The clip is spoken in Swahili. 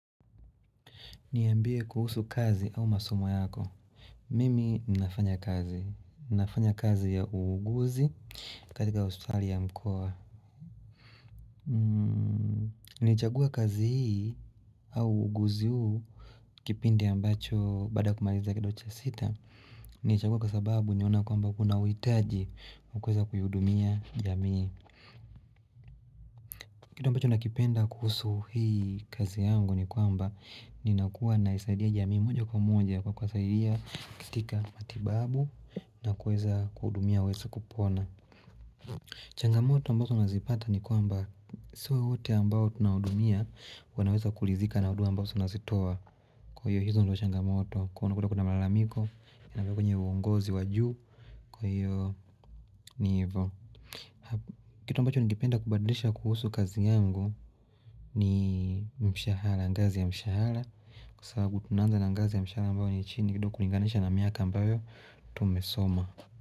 Niambie kuhusu kazi au masomo yako. Mimi ninafanya kazi. Ninafanya kazi ya uuguzi katika hospitali ya mkoa. Nilichagua kazi hii au uuguzi huu kipindi ambacho baada kumaliza kidocha sita. Nilichagua kwa sababu niliona kwamba kuna uhitaji wakueza kuihudumia jamii. Kitu ambacho nakipenda kuhusu hii kazi yangu ni kwamba ni nakuwa na isaidia jamii moja kwa moja kwa kuwasaidia katika matibabu na kuweza kuhudumia waweze kupona. Changamoto ambazo nazipata ni kwamba sio wote ambao tunahudumia wanaweza kulithika na huduma ambazo nazitoa. Kwa hiyo hizo ndizo changamoto kwa unakuta kuna malamiko yanapokuja uongozi wa juu kwa hiyo ni hivo. Kitu ambacho ningependa kubadlisha kuhusu kazi yangu ni mshahara, ngazi ya mshahara sababu tunaanza na ngazi ya mshahara ambayo ni chini kidogo kulinganisha na miaka ambayo, tumesoma.